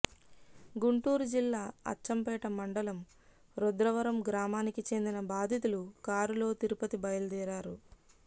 గుంటూరు జిల్లా అచ్చంపేట మండలం రుద్రవరం గ్రామానికి చెందిన బాధితులు కారులో తిరుపతి బయలుదేరారు